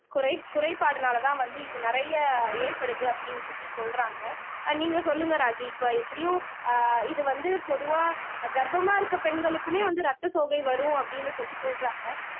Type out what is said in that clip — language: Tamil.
குறை குறைபாடுனாலதான் வந்து இது நிறைய ஏற்படுது அப்படின்னு சொல்லி சொல்றாங்க அஹ் நீங்க சொல்லுங்க ராஜி இப்ப எப்படியும் ஆஹ் இது வந்து பொதுவா கர்ப்பமா இருக்க பெண்களுக்குமே வந்து ரத்த சோகை வரும் அப்படின்னு சொல்லி சொல்றாங்க